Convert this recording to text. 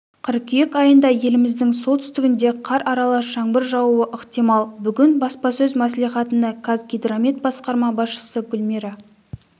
қыркүйек айында еліміздің солтүстігінде қар аралас жаңбыр жаууы ықтимал бүгін баспасөз мәслихатында қазгидромет басқарма басшысы гүлмира